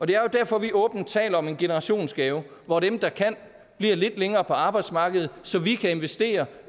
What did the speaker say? det er derfor vi åbent taler om en generationsgave hvor dem der kan bliver lidt længere på arbejdsmarkedet så vi kan investere